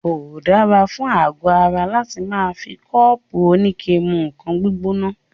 Kò dára fún àgọ ara láti máà fi kọ́ọ́pù oníke mú nǹkan gbígbóná.